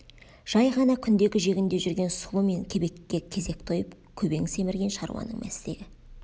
жай ғана күндегі жегінде жүрген сұлы мен кебекке кезек тойып көбең семірген шаруаның мәстегі